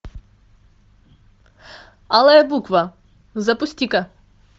алая буква запусти ка